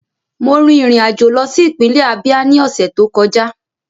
Mo rin ìrìn àjò lọ sí ìpínlẹ̀ Ábíá ní ọ̀sẹ̀ tó kọjá